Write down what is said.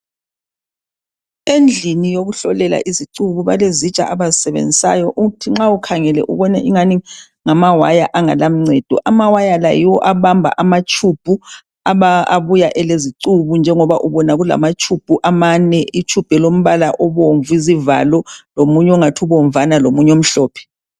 Endlini yokuhlolela izicuku balezintsha abayisebenzisayo ukuthi nxa ukhangele ubone engani ngamawaya angelancedo amawaya la yiwo abamba amatshubhu abuya elezicuku njengoba ubona kulamatshubhu amane itshubhu elombala obomvu izivalo lomunye ongathi ubovana lomunye omhlophe.